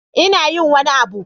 Ina yin wani abu